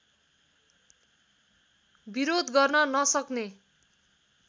विरोध गर्न नसक्ने